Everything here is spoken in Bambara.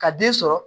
Ka den sɔrɔ